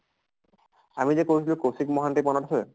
আমি যে কৈছিলো কৌছিক মহন্তি, মনত আছে ?